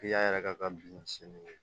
yɛrɛ ka bin sini